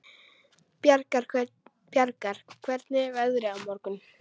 Bjargar, hvernig er veðrið á morgun?